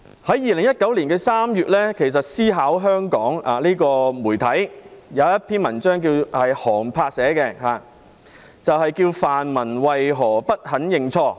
在2019年3月，媒體"思考香港"刊登一篇寒柏寫的文章，題為"泛民為何不肯認錯？